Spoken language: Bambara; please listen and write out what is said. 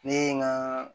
Ne ye n ka